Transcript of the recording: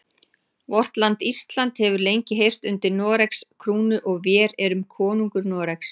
Vort land Ísland hefur lengi heyrt undir Noregs krúnu og vér erum konungur Noregs.